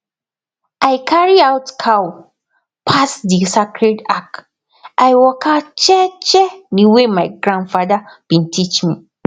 i carry out cow pass the sacred arch i waka jeje the way my grandfather been teach me